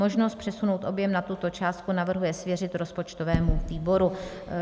Možnost přesunout objem nad tuto částku navrhuje svěřit rozpočtovému výboru.